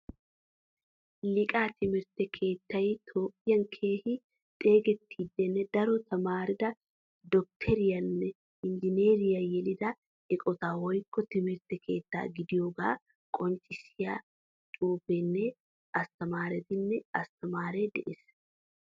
Liiqa timirtte keettay toophphiyan keehin xeegetidanne daro tamaarida dokteriyanne injineeriyaa yelida eqqotta woykko timirtte keetta gidiyoga qonccisyaa xuufene atamaretinne asttamaare de'ees.